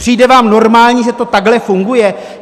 Přijde vám normální, že to takhle funguje?